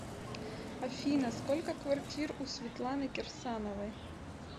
афина сколько квартир у светланы кирсановой